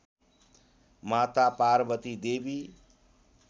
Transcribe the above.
माता पार्वती देवी